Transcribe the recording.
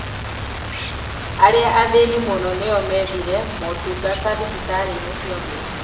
Arĩa athĩni mũno nĩo methire motungata thibitarĩ-inĩ cia mũingĩ